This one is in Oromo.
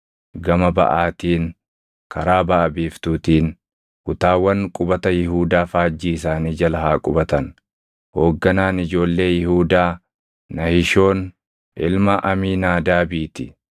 Gama baʼaatiin, karaa baʼa biiftuutiin: kutaawwan qubata Yihuudaa faajjii isaanii jala haa qubatan. Hoogganaan ijoollee Yihuudaa Nahishoon ilma Amiinaadaabii ti.